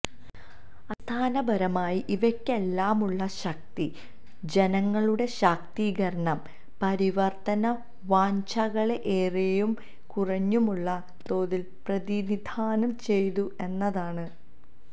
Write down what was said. അടിസ്ഥാനപരമായി ഇവയ്ക്കെല്ലാമുള്ള ശക്തി ജനങ്ങളുടെ ശാക്തീകരണ പരിവര്ത്തന വാഞ്ഛകളെ ഏറിയും കുറഞ്ഞുമുള്ള തോതില് പ്രതിനിധാനം ചെയ്തു എന്നതാണ്